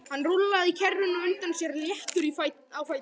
Hann rúllaði kerrunni á undan sér léttur á fæti.